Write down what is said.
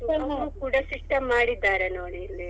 ಕೂಡ system ಮಾಡಿದ್ದಾರೆ ನೋಡಿ ಇಲ್ಲಿ.